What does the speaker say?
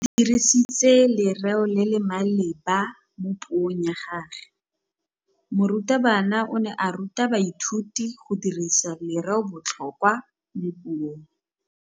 O dirisitse lerêo le le maleba mo puông ya gagwe. Morutabana o ne a ruta baithuti go dirisa lêrêôbotlhôkwa mo puong.